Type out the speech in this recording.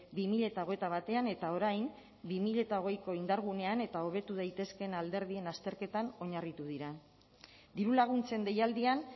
bi mila hogeita batean eta orain bi mila hogeiko indargunean eta hobetu daitezkeen alderdien azterketan oinarritu dira dirulaguntzen deialdian